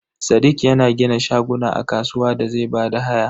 Sadiq yana gina shaguna a kasuwa da zai bada haya.